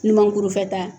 Ɲumankurufɛta